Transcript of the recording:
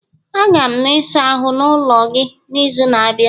Aga m na ịsa ahụ n'ulo gị n'izu na-abịa